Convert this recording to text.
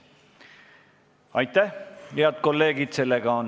Aitäh, head kolleegid!